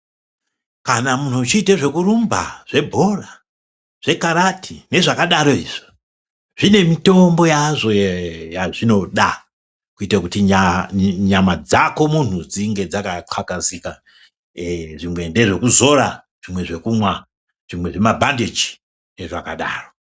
Kana munhu uchiite zvekurumba, zvebhora, zvekarati nezvakadaro izvo. Zvine mitombo yazvooee yazvinoda ,kuite kuti nyaa nyama dzako munhu dzinge dzakathakazika. Eee zvimwe ndezvekuzora, zvimwe zvekumwa, zvimwe zvemabhandeji nezvakadaro.